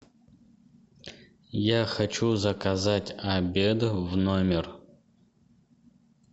я хочу заказать обед в номер